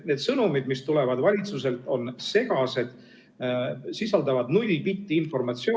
Need sõnumid, mis tulevad valitsuselt, on segased, sisaldavad null bitti informatsiooni ...